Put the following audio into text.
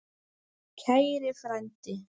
Kæri frændi.